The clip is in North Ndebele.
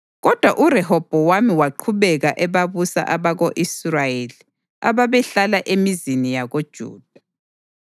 Kodwa uRehobhowami waqhubeka ebabusa abako-Israyeli ababehlala emizini yakoJuda.